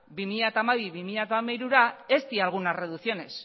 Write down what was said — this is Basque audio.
bi mila hamabi bi mila hamairura ez dira algunas reducciones